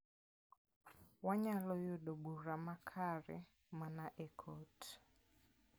Wanyalo yudo bura makare mana e kot.